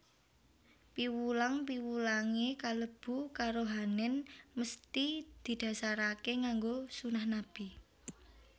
Piwulang piwulangé kalebu karohanèn mesthi didhasaraké nganggo sunah Nabi